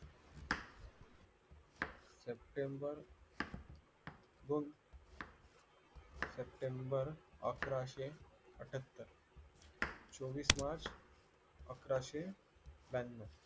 September दोन September अकराशे अठ्ठयात्तर चोवीस मार्च अकाराशे ब्यानव